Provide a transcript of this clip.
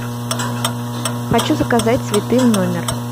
хочу заказать цветы в номер